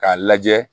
K'a lajɛ